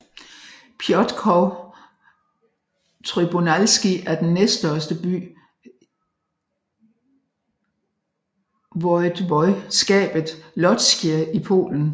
Piotrków Trybunalski er den næststørste by voivodskabet Łódzkie i Polen